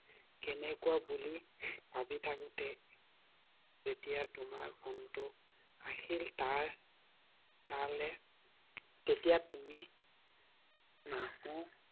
তএনেকুৱা বুলি ভাবি থাকোঁতে যেতিয়া তোমাৰ ফোন টো আহিল । তাৰ তালে তেতিয়া তুমি